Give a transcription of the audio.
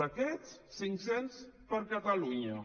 d’aquests cinc cents per a catalunya